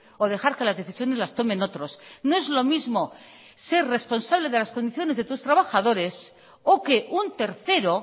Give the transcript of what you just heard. o dejar que las decisiones las tomen otros no es lo mismo ser responsable de las condiciones de tus trabajadores o que un tercero